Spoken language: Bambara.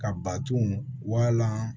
Ka baton walan